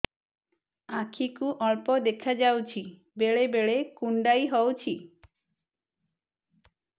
ଆଖି କୁ ଅଳ୍ପ ଦେଖା ଯାଉଛି ବେଳେ ବେଳେ କୁଣ୍ଡାଇ ହଉଛି